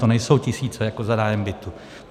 To nejsou tisíce jako za nájem bytu.